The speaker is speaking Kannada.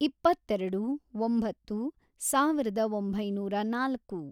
ಇಪ್ಪತ್ತೆರೆಡು, ಒಂಬತ್ತು, ಸಾವಿರದ ಒಂಬೈನೂರ ನಾಲ್ಕು